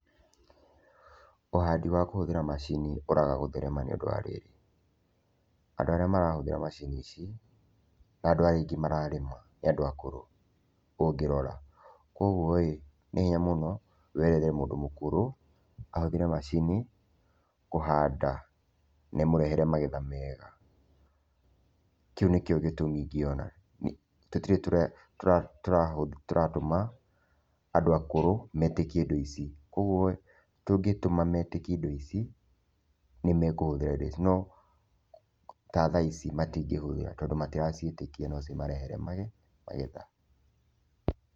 Ũhandi wa kũhũthĩra macini ũraga gũtherema nĩ ũndũ wa rĩrĩ, andũ arĩa marahũthĩra macini ici na andũ arĩa aingĩ mararĩma nĩ andũ akũrũ ũngĩrora. Koguo ĩ, nĩ hinya mũno wĩrĩre mũndũ mũkũrũ ahũthĩre macini kũhanda na ĩmũrehere magetha mega, kĩu nĩkĩo gĩtũmi ingĩona. Tũtirĩ tũratũma andũ akũrũ metĩkie indo ici koguo tũngĩtũma metĩkie indo ici, nĩmekũhũthĩra indo ici no ta thaa ici matingĩhũthĩra tondũ matiraciĩtĩkia no cimarehere mage magetha.